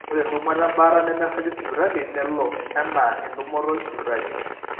ore entumoto ebaata nemeiragi sipitali nelo enaa entumoto esipitali